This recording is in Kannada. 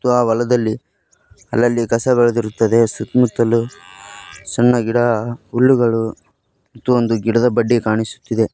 ಮತ್ತು ಆ ಹೊಲದಲ್ಲಿ ಅಲ್ಲಲ್ಲಿ ಕಸ ಬೆಳೆದಿರುತ್ತದೆ ಸುತ್ತಮುತ್ತಲು ಸಣ್ಣ ಗಿಡ ಹುಲ್ಲುಗಳು ಮತ್ತು ಒಂದು ಗಿಡದ ಬಡ್ಡಿ ಕಾಣಿಸುತ್ತಿದೆ.